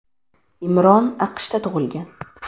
Imron AQShda tug‘ilgan.